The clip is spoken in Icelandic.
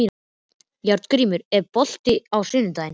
Járngrímur, er bolti á sunnudaginn?